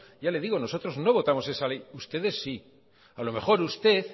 ya le digo nosotros no votamos esa ley ustedes sí a lo mejor usted